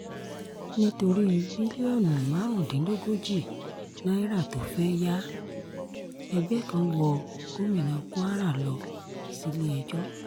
nítorí bílíọ̀nù márùndínlógójì náírà tó fẹ́ẹ́ yá ẹgbẹ́ kan wọ gómìnà kwara lọ sílé-ẹjọ́